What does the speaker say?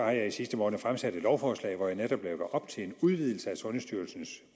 jeg i sidste måned fremsat et lovforslag hvor jeg netop lægger op til en udvidelse af sundhedsstyrelsens